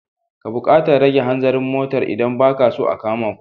Ka buƙatar rage hanzarin motar idan ba ka so a kama ku.